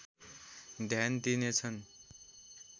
ध्यान दिनेछन्